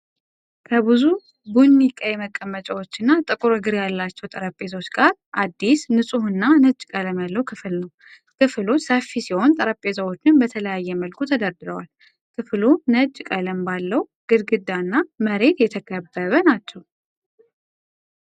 ከብዙ ቡኒ ቀይ መቀመጫዎችና ጥቁር እግር ያላቸው ጠረጴዛዎች ጋር አዲስ፣ ንጹህና ነጭ ቀለም ያለው ክፍል ነው። ክፍሉ ሰፊ ሲሆን ጠረጴዛዎቹም በተለያየ መልኩ ተደርድረዋል። ክፍሉ ነጭ ቀለም ባለው ግድግዳ እና መሬት የተከበበ ናቸው።